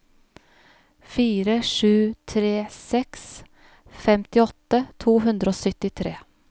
fire sju tre seks femtiåtte to hundre og syttitre